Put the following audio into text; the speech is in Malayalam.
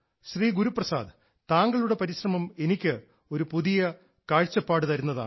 ശ്രീ ഗുരുപ്രസാദ് താങ്കളുടെ പരിശ്രമം എനിക്ക് ഒരു പുതിയ കാഴ്ച തരുന്നതാണ്